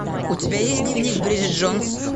у тебя есть дневник бриджит джонс